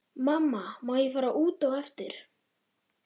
Mamma má ég fara út á eftir?